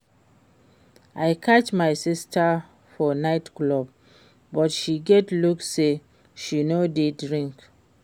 I catch my sister for night club but she get luck say she no dey drink